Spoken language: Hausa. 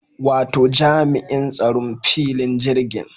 Wato jami'in tsaron filin jirgin